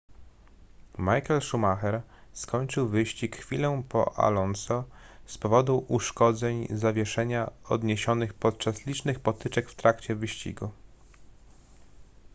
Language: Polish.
michael schumacher skończył wyścig chwilę po alonso z powodu uszkodzeń zawieszenia odniesionych podczas licznych potyczek w trakcie wyścigu